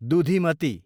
दुधिमती